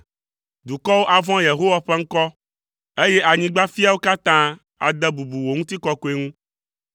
Dukɔwo avɔ̃ Yehowa ƒe ŋkɔ, eye anyigbadzifiawo katã ade bubu wò ŋutikɔkɔe ŋu.